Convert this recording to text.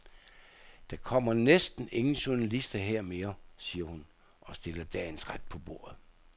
Der kommer næsten ingen journalister her mere, siger hun og stiller dagens ret på bordet.